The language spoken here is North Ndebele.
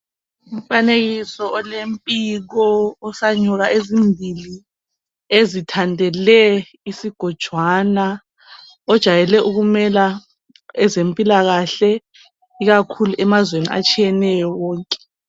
Umfanekiso olempiko osanyoka ezimbili ezithandele isigojwana ojayele ukumela ezempilakahle ikakhulu emazweni atshiyeneyo wonke.